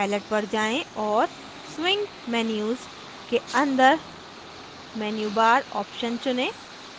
palette पर जाएँ और swing menu के अंदर menu bar option चुनें